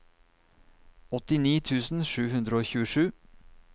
åttini tusen sju hundre og tjuesju